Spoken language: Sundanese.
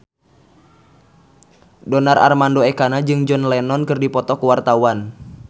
Donar Armando Ekana jeung John Lennon keur dipoto ku wartawan